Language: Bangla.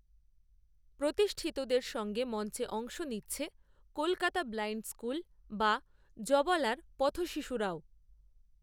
প্রতিষ্ঠিতদের সঙ্গে মঞ্চে অংশ নিচ্ছে, কলকাতা ব্লাইণ্ড স্কুল, বা জবালার, পথশিশুরাও